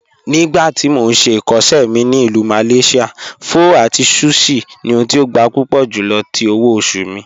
Nígbàtí mó n ṣè ikọṣẹ mi ni Ilù Malaysia, pho àti sushi ni ohùn tí ó gbà púpọ̀ júlọ̀ tí òwò-ọ̀ṣù mi.